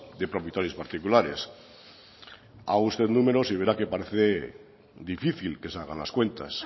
de propietarios particulares haga usted números y verá que parece difícil que salgan las cuentas